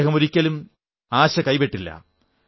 അദ്ദേഹം ഒരിക്കലും ആശ കൈവിട്ടില്ല